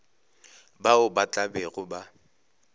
bao ba tla bego ba